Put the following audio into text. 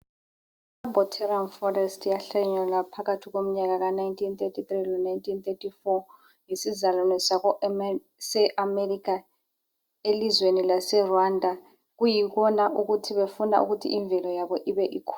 Ibotanal forest yahlanyela emnyakeni phakathi komnyaka 1933 lo 1934 yisizalwane seAmerica elizweni laseRwanda kuyibona befuna ukuthi imvelo yabo ibe ikhula.